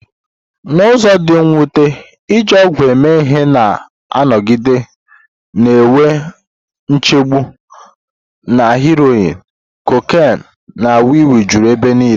N'ụzọ dị mwute, iji ọgwụ eme ihe na-anọgide na-enwe nchegbu, na heroin, cocaine, na wii wii juru ebe niile.